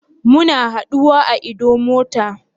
Muna haduwa a Idumota?